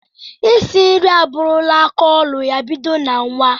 Isi nri aburula aka ọlụ ya bido na nwa.